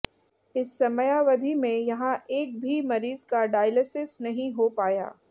इस समयावधि में यहां एक भी मरीज का डायलीसिस नहीं होपाया